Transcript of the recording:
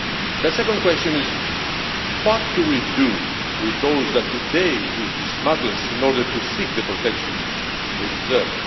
The second question is What do we do with those that today use smugglers in order to seek the protection they deserve?'